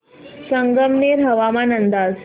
संगमनेर हवामान अंदाज